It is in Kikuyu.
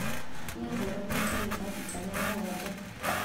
Nĩahũranĩte irũga rita rĩa mũgwanja